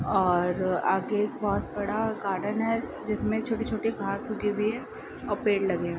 और आगे एक बहोत बड़ा गार्डन है जिसमें छोटी-छोटी घास उगी हुई है और पेड़ लगे --